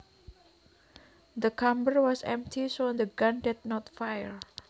The chamber was empty so the gun did not fire